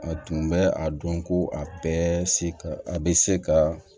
A tun bɛ a dɔn ko a bɛɛ se ka a bɛ se ka